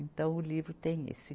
Então, o livro tem esse.